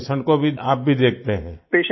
तो आप पेशेंट को भी आप भी देखते हैं